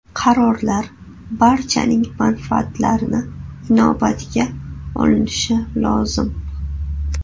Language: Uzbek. Qarorlar barchaning manfaatlarini inobatga olinishi lozim.